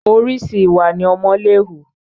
Orìṣi ìwà ni ọmọ lè hù